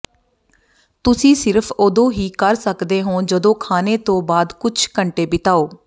ਤੁਸੀਂ ਸਿਰਫ ਉਦੋਂ ਹੀ ਕਰ ਸਕਦੇ ਹੋ ਜਦੋਂ ਖਾਣੇ ਤੋਂ ਬਾਅਦ ਕੁਝ ਘੰਟੇ ਬਿਤਾਓ